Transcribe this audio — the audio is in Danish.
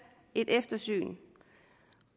et eftersyn